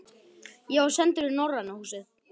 Ég var sendur í Norræna húsið.